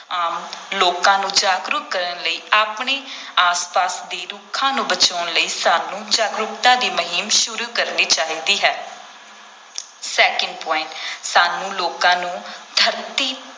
ਆਮ ਲੋਕਾਂ ਨੂੰ ਜਾਗਰੂਕ ਕਰਨ ਲਈ, ਆਪਣੇ ਆਸ ਪਾਸ ਦੇ ਰੁੱਖਾਂ ਨੂੰ ਬਚਾਉਣ ਲਈ ਸਾਨੂੰ ਜਾਗਰੂਕਤਾ ਦੀ ਮੁਹਿੰਮ ਸ਼ੁਰੂ ਕਰਨੀ ਚਾਹੀਦੀ ਹੈ second point ਸਾਨੂੰ ਲੋਕਾਂ ਨੂੰ ਧਰਤੀ